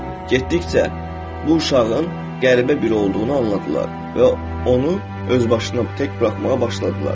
Getdikcə bu uşağın qəribə bir olduğunu anladılar və onu öz başına, tək buraxmağa başladılar.